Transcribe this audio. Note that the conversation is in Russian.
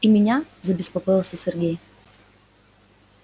и меня забеспокоился сергей